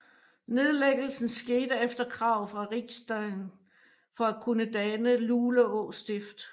Nedlæggelsen skete efter krav fra Riksdagen for at kunne danne Luleå Stift